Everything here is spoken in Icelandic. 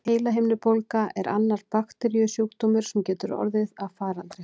Heilahimnubólga er annar bakteríusjúkdómur, sem getur orðið að faraldri.